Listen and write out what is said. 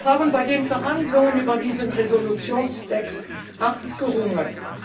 Wir haben bei den Verhandlungen über diesen Entschließungstext hart gerungen.